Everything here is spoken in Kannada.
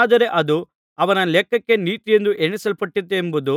ಆದರೆ ಅದು ಅವನ ಲೆಕ್ಕಕ್ಕೆ ನೀತಿಯೆಂದು ಎಣಿಸಲ್ಪಟ್ಟಿತೆಂಬುದು